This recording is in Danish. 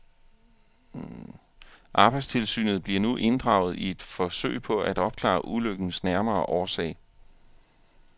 Arbejdstilsynet bliver nu inddraget i et forsøg på at opklare ulykkens nærmere årsag.